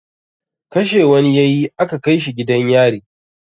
Kashe wani ya yi aka kai shi gidan yari.